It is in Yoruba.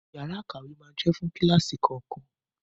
Yàrá ìkàwé máa jẹ́ fún kíláàsì kọ̀ọ̀kan.